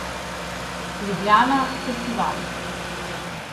Ljubljana festival.